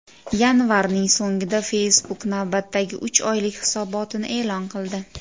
Yanvarning so‘ngida Facebook navbatdagi uch oylik hisobotini e’lon qildi .